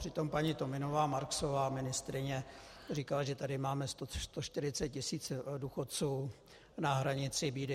Přitom paní Tominová-Marksová, ministryně, říkala, že tady máme 140 tisíc důchodců na hranici bídy.